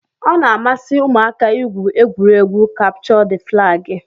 Ọ na-amasị ụmụaka igwu egwuregwu kapchọ d flagi